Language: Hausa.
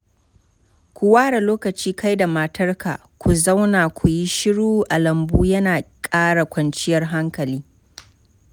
Ku ware lokaci kai da matarka ku zauna ku yi shiru a lambu yana ƙara kwancinyar hankali.